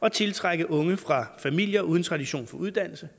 at tiltrække unge fra familier uden tradition for uddannelse